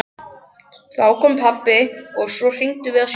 Þá kom pabbi og svo hringdum við á sjúkrabíl.